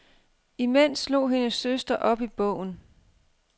Imens slog hendes søster op i bogen.